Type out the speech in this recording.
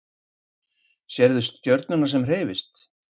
Sérðu stjörnuna sem hreyfist?